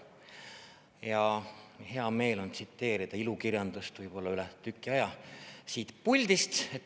Ja hea meel on tsiteerida ilukirjandust võib-olla üle tüki aja siit puldist.